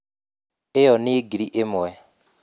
Iyo ni Ngiri ĩmwe.